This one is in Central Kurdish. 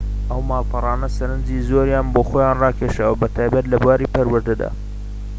ئەو ماڵپەڕانە سەرنجی زۆریان بۆ خۆیان ڕاکێشاوە بەتایبەتی لە بواری پەروەردەدا